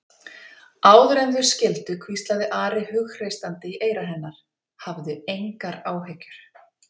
Áður en þau skildu hvíslaði Ari hughreystandi í eyra hennar: Hafðu engar áhyggjur.